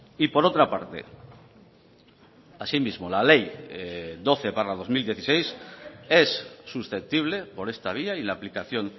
y por otra parte asimismo la ley doce barra dos mil dieciséis es susceptible por esta vía y la aplicación